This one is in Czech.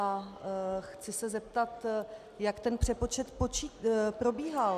A chci se zeptat, jak ten přepočet probíhal.